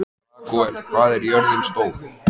Ragúel, hvað er jörðin stór?